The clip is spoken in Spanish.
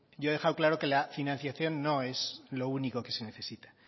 yo he dejado claro que la financiación no es lo único que se necesita